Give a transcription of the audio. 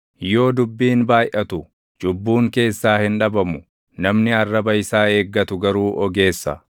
Yoo dubbiin baayʼatu, cubbuun keessaa hin dhabamu; namni arraba isaa eeggatu garuu ogeessa.